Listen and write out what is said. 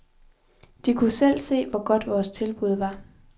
De kunne selv se, hvor godt vores tilbud var.